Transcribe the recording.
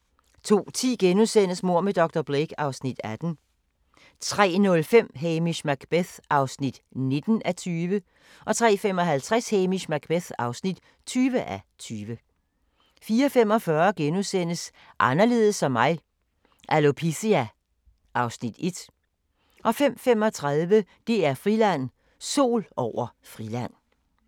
02:10: Mord med dr. Blake (Afs. 18)* 03:05: Hamish Macbeth (19:20) 03:55: Hamish Macbeth (20:20) 04:45: Anderledes som mig - Alopecia (Afs. 1)* 05:35: DR-Friland: Sol over Friland